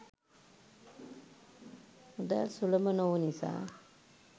මුදල් සුලභ නොවූ නිසා